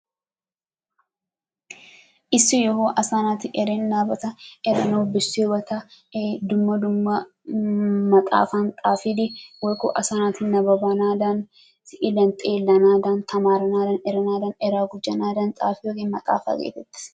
isshi yohuwaa asaa natti erennabatta, qasi eranawu besiyaabatta duma duma maxxafani xaffidi woyko asaa natti xaafidi nababanadani, siliyanni xellanadannitammaranadan, eraa demanadanni, eraa gujjanadanni xaffiyogee maxafaa getettess.